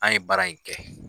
An ye baara in kɛ.